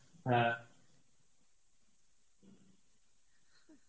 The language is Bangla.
হ্যাঁ